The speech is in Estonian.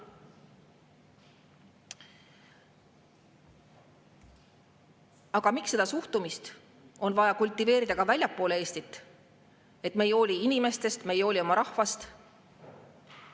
Aga miks on vaja ka väljaspool Eestit kultiveerida seda suhtumist, et me ei hooli inimestest, ei hooli oma rahvast?